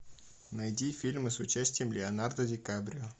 найди фильмы с участием леонардо ди каприо